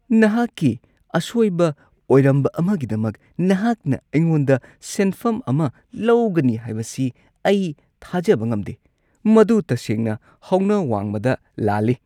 ꯅꯍꯥꯛꯀꯤ ꯑꯁꯣꯏꯕ ꯑꯣꯏꯔꯝꯕ ꯑꯃꯒꯤꯗꯃꯛ ꯅꯍꯥꯛꯅ ꯑꯩꯉꯣꯟꯗ ꯁꯦꯟꯐꯝ ꯑꯃ ꯂꯧꯒꯅꯤ ꯍꯥꯏꯕꯁꯤ ꯑꯩ ꯊꯥꯖꯕ ꯉꯝꯗꯦ꯫ ꯃꯗꯨ ꯇꯁꯦꯡꯅ ꯍꯧꯅ ꯋꯥꯡꯃꯗ ꯂꯥꯜꯂꯤ꯫